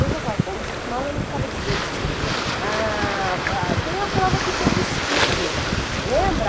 Eu já estava tão acostumada, eu não ficava dizendo se, ah... ah, tem a prova do teu vestido, lembra?